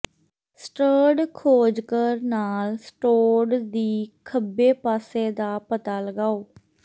ਸਟ੍ਰਡ ਖੋਜਕਰ ਨਾਲ ਸਟੋਡ ਦੀ ਖੱਬੇ ਪਾਸੇ ਦਾ ਪਤਾ ਲਗਾਓ